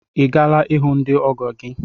I gaala ihu ndị ọgọ gị?